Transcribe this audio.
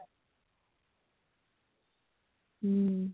ହୁଁ